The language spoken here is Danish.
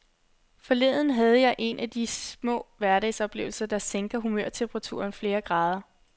Forleden havde jeg en af de små hverdagsoplevelser, der sænker humørtemperaturen flere grader.